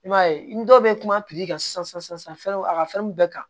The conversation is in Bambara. I b'a ye ni dɔw bɛ kuma ka sisan san san san fɛnruw a ka fɛn bɛɛ kan